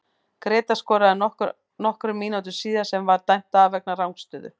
Grétar skoraði nokkrum mínútum síðar sem var dæmt af vegna rangstöðu.